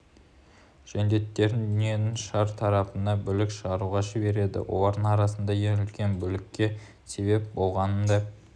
жендеттерін дүниенің шар тарапына бүлік шығаруға жібереді олардың арасынан ең үлкен бүлікке себеп болғанын да